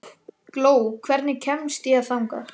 Gló, hvernig kemst ég þangað?